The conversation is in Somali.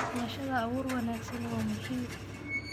Xulashada abuur wanaagsan waa muhiim.